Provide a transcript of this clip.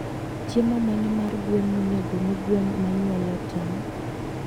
Chiemo mane mar gwen monego omii gwen manyuolo tong?